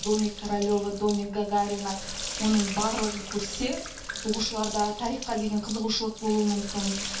домик королева домик гагарина оның барлығын көрсе оқушыларда тарихқа деген қызығушылық болуы мүмкін